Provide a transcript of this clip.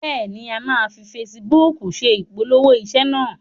Bẹ́ẹ̀ ni, a máa fi fesibúùkù se ìpolongo iṣẹ́ náà.